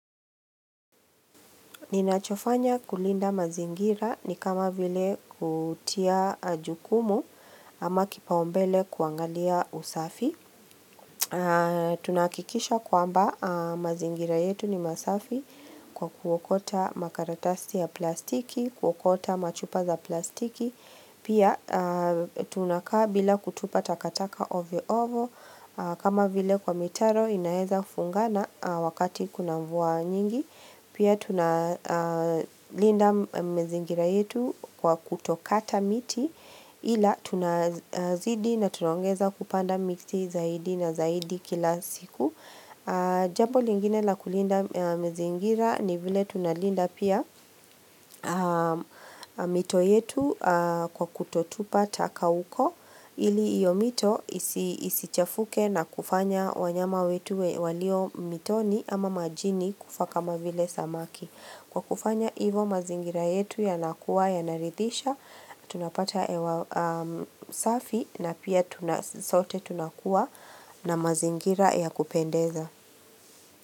Ninachofanya kulinda mazingira ni kama vile kutia jukumu ama kipaumbele kuangalia usafi. Tunahakikisha kwamba mazingira yetu ni masafi kwa kuokota makaratasi ya plastiki, kuokota machupa za plastiki. Pia tunakaa bila kutupa takataka ovyo ovyo kama vile kwa mitaro inaweza fungana wakati kuna mvua nyingi. Pia tunalinda mazingira yetu kwa kutokata miti Ila tunazidi na tunaongeza kupanda miti zaidi na zaidi kila siku Jambo lingine la kulinda mazingira ni vile tunalinda pia mito yetu kwa kutotupa taka huko ili hiyo mito isichafuke na kufanya wanyama wetu walio mitoni ama majini kufa kama vile samaki Kwa kufanya hivyo mazingira yetu yanakuwa yanarithisha tunapata hewa safi na pia sote tunakuwa na mazingira ya kupendeza.